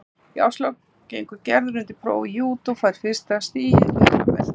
Í árslok gengur Gerður undir próf í júdó og fær fyrsta stigið, gula beltið.